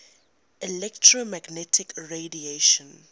electromagnetic radiation